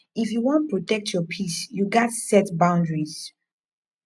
if you wan protect your peace you gats set boundaries